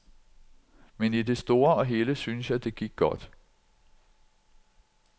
Men i det store og hele synes jeg, det gik godt.